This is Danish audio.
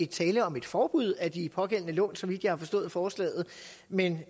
tale om et forbud af de pågældende lån så vidt jeg har forstået forslaget men